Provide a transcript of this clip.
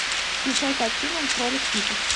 включай картину кролик питер